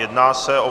Jedná se o